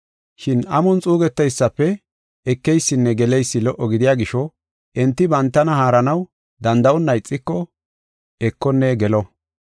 Shin amon xuugeteysafe ekeysinne geleysi lo77o gidiya gisho, enti bantana haaranaw danda7onna ixiko, ekonne gelo.